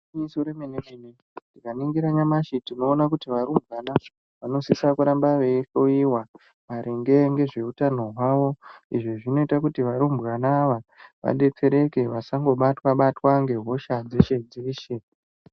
IGwinyiso remene mene ,tikaningira namashi timboona kuti varumbwana vanoshesha kuramba vei hloiwa maringe ngezveutano hwavo izvi zvinoita kuti varumbwana ava vadetsereke vasangobatwa batwa ngehosha dzeshe dzeshe.